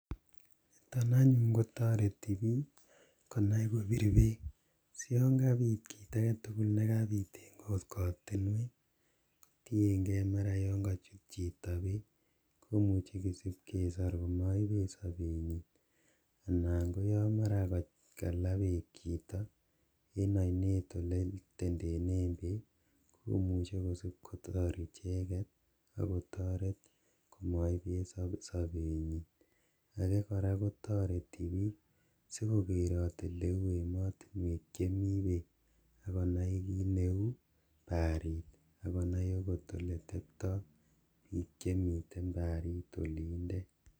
Niton anyun kotareti bik konai kobir beek, si yonkabit kit aketugul nekabit mara yankachut chito beek, komuchi kosibkesor amaibet sabenyi anan ko ya mara kala beek chito en ainet ole tendenen beek, komuchi kosibkosor icheket akotoret amaibet sabenyi. Ake kora kotareti bik sikokerot oleu emotinek chemi beek akonai kit neu baarit akonai akot oleteptoi bik chemitei baarit olinde.